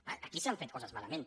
clar aquí s’han fet coses malament